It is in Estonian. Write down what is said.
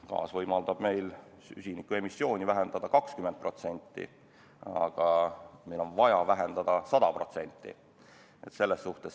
Gaas võimaldab meil süsinikuemissiooni vähendada 20%, aga meil on vaja vähendada 100%.